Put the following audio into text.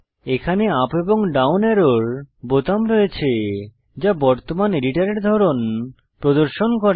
এখানে ইউপি এবং ডাউন অ্যারোর বোতাম রয়েছে যা বর্তমান এডিটরের ধরন প্রদর্শন করে